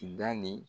Da ni